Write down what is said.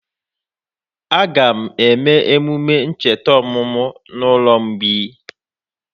Aga eme emume ncheta ọmụmụ na ụlọ mgbei?